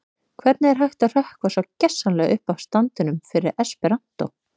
Hvernig er hægt að hrökkva svo gersamlega upp af standinum fyrir esperantó?